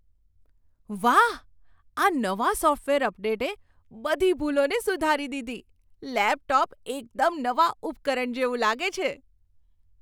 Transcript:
વાહ, આ નવા સોફ્ટવેર અપડેટે બધી ભૂલોને સુધારી દીધી. લેપટોપ એકદમ નવા ઉપકરણ જેવું લાગે છે!